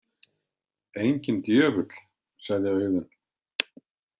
Enginn djöfull, sagði Auðunn.